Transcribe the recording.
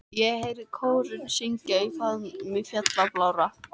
Og ég heyrði kórinn syngja Í faðmi fjalla blárra.